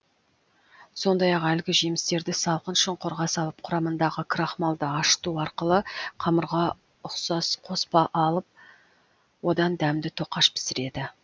сондай ақ әлгі жемістерді салқын шұңқырға салып құрамындағы крахмалды ашыту арқылы қамырға ұқсас қоспа алып одан дәмді тоқаш пісіреді